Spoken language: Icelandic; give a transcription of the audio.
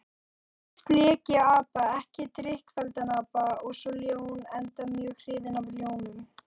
Fyrst lék ég apa, ekki drykkfelldan apa, og svo ljón, enda mjög hrifinn af ljónum.